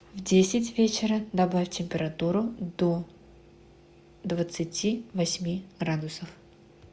в десять вечера добавь температуру до двадцати восьми градусов